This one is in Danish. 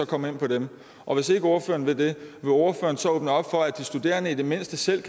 komme ind på dem og hvis ikke ordføreren vil det vil ordføreren så åbne op for at de studerende i det mindste selv